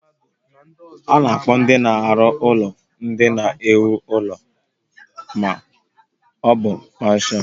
A na-akpọ ndị na-arụ ụlọ ndị na-ewu ụlọ ma ọ bu Mesịn